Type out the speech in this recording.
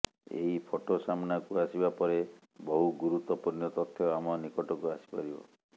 ଏହି ଫଟୋ ସାମ୍ନାକୁ ଆସିବା ପରେ ବହୁ ଗୁରୁତ୍ୱପୂର୍ଣ୍ଣ ତଥ୍ୟ ଆମ ନିକଟକୁ ଆସିପାରିବ